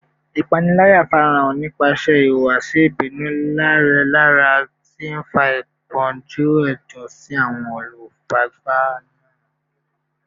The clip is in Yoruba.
Ipanilaya farahan nipasẹ ihuwasi ibinu leralera, ti nfa ipọnju ẹdun si awọn olufaragba naa